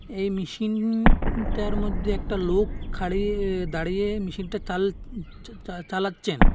এই মেশিনটার মধ্যে একটা লোক খাড়িয়ে দাঁড়িয়ে মেশিনটা চাল-চা চালাচ্ছেন।